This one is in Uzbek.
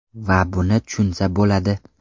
Va buni tushunsa bo‘ladi.